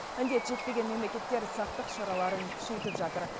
індет жетпеген мемлекеттер сақтық шараларын күшейтіп жатыр